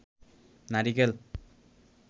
নারিকেল